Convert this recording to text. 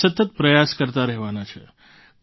આપણે સતત પ્રયાસ કરતા રહેવાના છે